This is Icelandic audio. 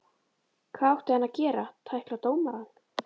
Hvað átti hann að gera, tækla dómarann?